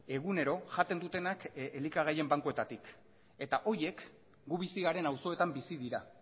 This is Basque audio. egunero jaten dutenak elikagaien bankuetatik eta horiek gu bizi garen auzoetan bizi dira